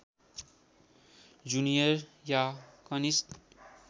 junior या कनिष्ठ